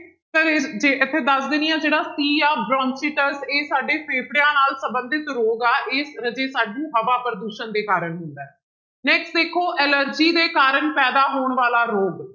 ਜੇ ਇੱਥੇ ਦੱਸ ਦਿੰਦੀ ਹਾਂ ਜਿਹੜਾ c ਆ bronchitis ਇਹ ਸਾਡੇ ਫੇਫੜਿਆਂ ਨਾਲ ਸੰਬੰਧਿਤ ਰੋਗ ਆ ਇਹ ਰਾਜੇ ਸਾਨੂੰ ਹਵਾ ਪ੍ਰਦੂਸ਼ਣ ਦੇ ਕਾਰਨ ਹੁੰਦਾ ਹੈ next ਦੇਖੋ ਐਲਰਜੀ ਦੇ ਕਾਰਨ ਪੈਦਾ ਹੋਣ ਵਾਲਾ ਰੋਗ